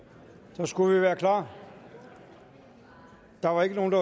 så skulle vi være klar der var ikke nogen